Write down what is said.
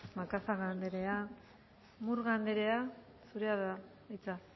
macazaga andrea murga andrea zurea da hitza